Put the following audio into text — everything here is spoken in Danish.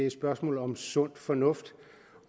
et spørgsmål om sund fornuft